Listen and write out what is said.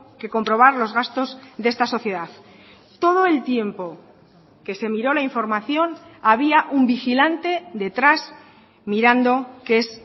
que comprobar los gastos de esta sociedad todo el tiempo que se miró la información había un vigilante detrás mirando que es